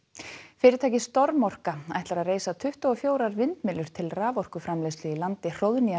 fyrirtækið storm orka ætlar að reisa tuttugu og fjögur vindmyllur til raforkuframleiðslu í landi